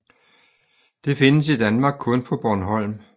Det findes i Danmark kun på Bornholm